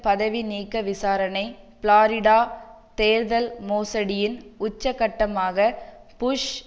பதவி நீக்க விசாரணை ப்ளோரிடா தேர்தல் மோசடியின் உச்ச கட்டமாகப் புஷ்